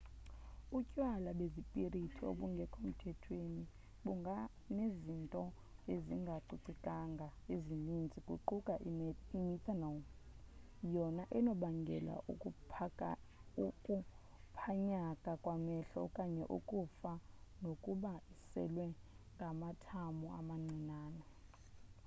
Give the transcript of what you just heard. utywala bezipirithi obungekho mthethweni bunganezinto ezingacocekanga ezininzi kuquka imethanol yona enokubangela ukuphanyaka kwamehlo okanye ukufa nokuba iselwa ngamathamo amancinane